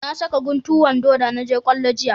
Na saka guntu wando da na je kwallo jiya